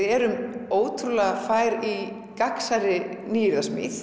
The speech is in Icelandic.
erum ótrúlega fær í gagnsærri nýyrðasmið